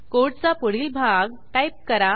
कोडचा पुढील भाग टाईप करा